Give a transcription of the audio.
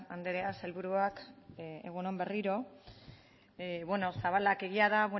andrea sailburuak egun on berriro bueno zabalak egia da